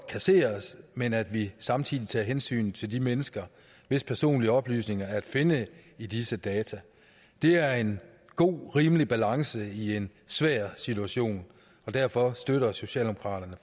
kasseres men at vi samtidig tager hensyn til de mennesker hvis personlige oplysninger er at finde i disse data det er en god rimelig balance i en svær situation derfor støtter socialdemokraterne